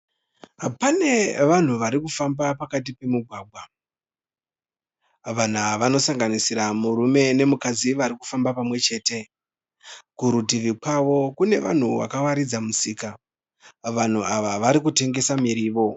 Pane vanhu vari kufamba pakati pemugwagwa. Vanhu ava vanosanganisira murume nemukadzi vari kufamba pamwe chete. Kurutivi kwavo kune vanhu vakawaridza musika. Vanhu ava vari kutengesa mirivo.